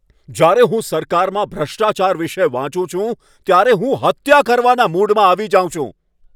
જ્યારે હું સરકારમાં ભ્રષ્ટાચાર વિશે વાંચું છું ત્યારે હું હત્યા કરવાના મૂડમાં આવી જાઉં છું.